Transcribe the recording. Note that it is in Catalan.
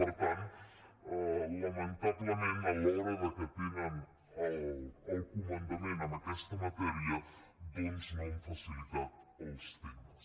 per tant lamentablement a l’hora que tenen el comandament en aquesta matèria doncs no han facilitat els temes